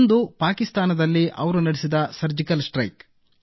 ಒಂದು ಪಾಕಿಸ್ತಾನದಲ್ಲಿ ಅವರು ನಡೆಸಿದ ಸರ್ಜಿಕಲ್ ಸ್ಟ್ರೈಕ್